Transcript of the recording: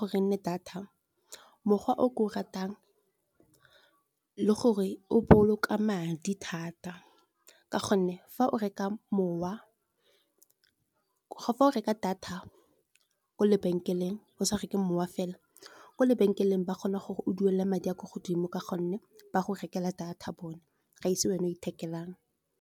gore e nne data mokgwa o ke o ratang le gore o boloka madi thata. Ka gonne fa o reka data kwa lebenkeleng o sa reke mowa fela kwa lebenkeleng, ba kgona gore o duele madi a kwa godimo ka gonne ba go rekela data bone ga se wena o ithekelang.